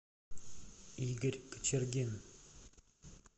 игорь кочергин